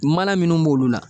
Mana minnu b'olu la